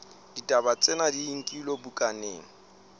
ditaba tsena di nkilwe bukaneng